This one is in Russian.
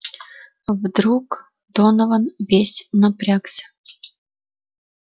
вдруг донован весь напрягся